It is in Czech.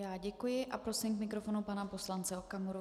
Já děkuji a prosím k mikrofonu pana poslance Okamuru.